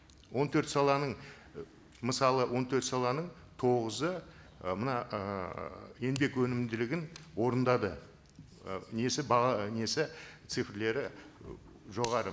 он төрт саланың і мысалы он төрт саланың тоғызы ы мына ыыы еңбек өнімділігін орындады і несі несі цифрлері і жоғары